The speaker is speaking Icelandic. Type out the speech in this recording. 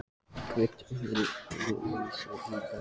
Bændur heyja öðruvísi í dag en þá.